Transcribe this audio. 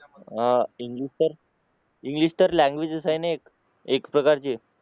हा इंग्लिश तर लाँगुयेज आहे ना एक. एक प्रकारची